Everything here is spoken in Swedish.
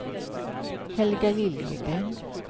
Helga Liljegren